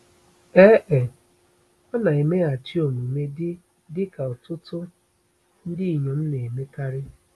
Ee e, ọ na-emeghachi omume dị dị ka ọtụtụ ndị inyom na-emekarị.